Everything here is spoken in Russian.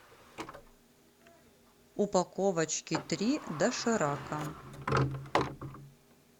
упаковочки три доширака